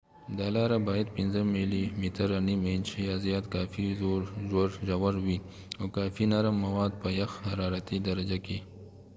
دا لاره باید 5 ملی متره نیم انچ یا زیات کافي ژور وي، او کافي نرم مواد په یخ حرارتي درجه کې